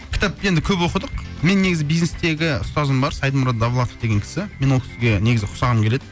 кітап енді көп оқыдық мен негізі бизнестегі ұстазым бар сайдмурод давлатов деген кісі мен ол кісіге негізі ұқсағым келеді